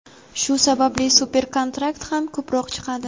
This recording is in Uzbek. shu sababli super-kontrakt ham ko‘proq chiqadi.